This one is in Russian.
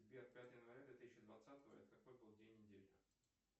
сбер пятое января две тысячи двадцатого это какой был день недели